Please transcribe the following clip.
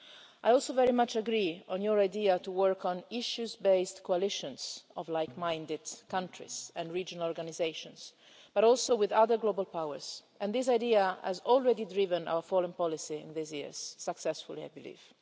I also very much agree with your idea to work on issues-based coalitions of likeminded countries and regional organisations, but also with other global powers. This idea has already driven our foreign policy in these years, successfully, I believe.